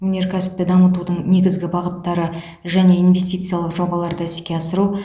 өнеркәсіпті дамытудың негізгі бағыттары және инвестициялық жобаларды іске асыру